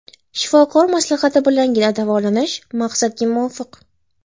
Shifokor maslahati bilangina davolanish maqsadga muvofiq.